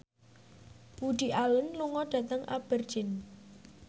Woody Allen lunga dhateng Aberdeen